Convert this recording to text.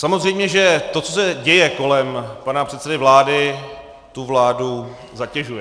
Samozřejmě, že to, co se děje kolem pana předsedy vlády, tu vládu zatěžuje.